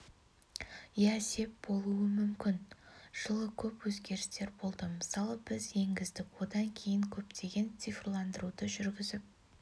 иә сеп болуы мүмкін жылы көп өзгерістер болды мысалы біз енгіздік одан кейін көптеген цифрландыруды жүргізіп